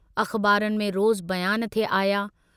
अख़बारुनि में रोज़ु बयान थे आया।